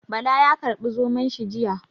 Bala ya karbi Zomon shi jiya.